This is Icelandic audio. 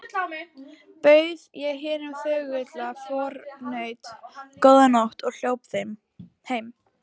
Bauð ég hinum þögula förunaut: Góða nótt og hljóp heim.